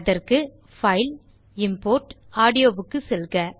அதற்கு பைல் ஜிடிஜிடி இம்போர்ட் ஜிடிஜிடி ஆடியோ செல்க